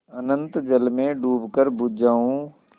अनंत जल में डूबकर बुझ जाऊँ